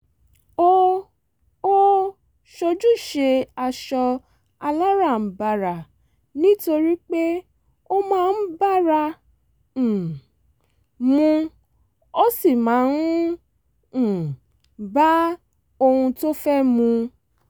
ó ó sojúdé aṣọ aláràǹbarà nítorí pé ó máa ń bára um mu ó sì máa ń um bá ohun tó fẹ́ mu